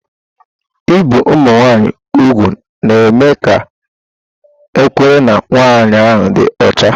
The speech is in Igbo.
Ibi ụmụ nwanyị úgwù na-eme ka ekwere na nwanyị ahụ dị ọcha.